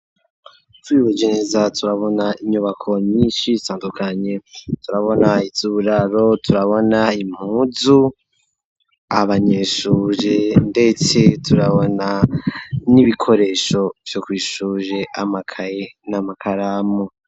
Twihweje neza turabona inyubako nyinshi itandukanye turabona izuburaro, turabona impuzu abanyeshure ndetse turabona n'ibikoresho vyo kw'ishure akaye n'amakaramu.